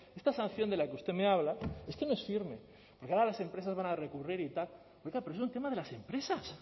esta sanción de la que usted me habla no es firme porque ahora las empresas van a recurrir y tal oiga pero es un tema de las empresas